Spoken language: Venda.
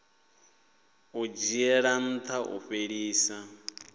u dzhiela ntha u fhelisa